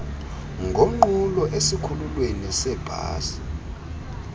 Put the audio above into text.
ngonqulo esikhululweni seebhasi